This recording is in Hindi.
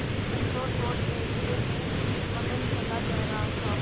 संतोष और धैर्य में मगन चला जा रहा था